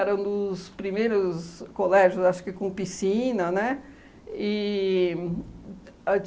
Era um dos primeiros colégios acho que com piscina, né? E a